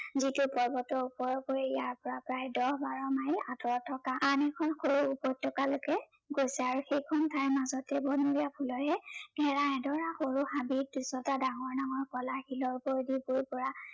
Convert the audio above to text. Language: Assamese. যিটো পৰ্বতৰ ওপৰত পৰি ইয়াৰ পৰা প্ৰায় দহ বাৰ মাইল আঁতৰত থকা আন এখন সৰু উপত্য়কালৈকে গৈছে। আৰু সেইখন ঠাইৰ মাজতে বনৰীয়া ফুলেৰে ঘেৰা এডৰা সৰু হাবিত দুচটা ডাঙৰ ডাঙৰ কলা শিলৰ ওপৰেদি বৈ যোৱা